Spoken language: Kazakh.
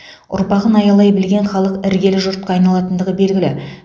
ұрпағын аялай білген халық іргелі жұртқа айналатындығы белгілі